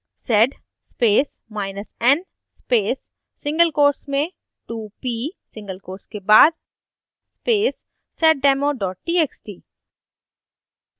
sed spacen space single quotes में 2p single quotes के बाद space seddemo txt